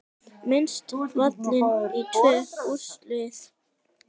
Mist valin í tvö úrvalslið